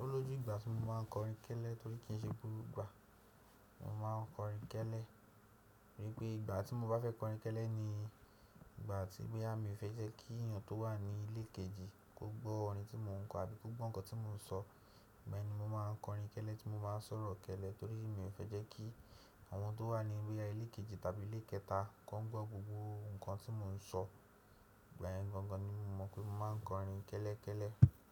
ọlọ́jú ìgbà tí mo máa ń kọrin kẹ́lẹ́ torí kí n ṣe gbogbo igbà. Mo máa ń kọrin kẹ́lẹ́, rí pé ìgbà tí mo bá fẹ́ kọrin kẹ́lẹ́ ni ìgbà tí boyà mí ò fẹ́ jẹ́ kí èèyàn tó wà ní ilé kejì kó gbọ́ orin tí mò ń kọ àbí kó gbọ nǹkan tí mò ń sọ. Ìgbà yẹni mo máa ń kọrin kẹ́lẹ́ tí mo má ń sọ̀rọ̀ kẹ́lẹ́ torí mi ò fẹ́ jẹ́ kí àwọn tó wà ní boyà ilé kejì tàbí ilé kẹta kan gbọ́ gbogbo nǹkan tí mò ń sọ. Ìgbà yẹni gangan ni mo mọ̀ pé mo máa ń kọrin kẹ́lẹ́ kẹ́lẹ́.